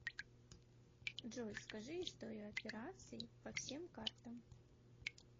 джой скажи историю операций по всем картам